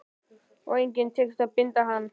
Og engum tekist að binda hann.